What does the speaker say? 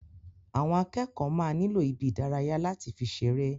Àwọn akẹ́kọ̀ọ́ máa nilo ibí ìdárayá lati fi ṣeré.